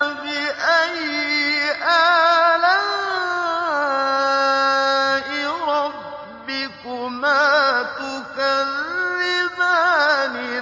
فَبِأَيِّ آلَاءِ رَبِّكُمَا تُكَذِّبَانِ